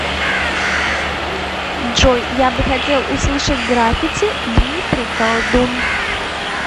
джой я бы хотел услышать граффити дмитрий колдун